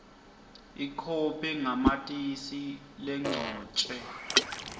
ikhophi yamatisi legcotjwe